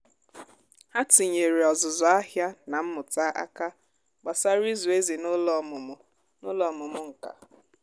ha tinyeere ọzụzụ ahịa na mmụta aka gbasara ịzụ ezì n’ụlọ ọmụmụ n’ụlọ ọmụmụ nka.